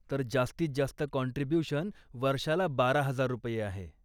तर, जास्तीत जास्त काँट्रिब्यूशन वर्षाला बारा हजार रुपये आहे.